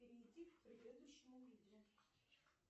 перейти к предыдущему видео